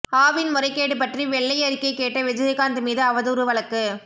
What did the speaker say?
ஆவின் முறைகேடு பற்றி வெள்ளையறிக்கை கேட்ட விஜயகாந்த் மீது அவதூறு வழக்கு